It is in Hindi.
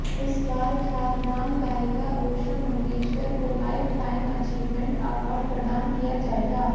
इस बार ख्यातनाम गायिका उषा मंगेशकर को लाइफ टाईम अचीवमेन्ट अवार्ड प्रदान किया जायेगा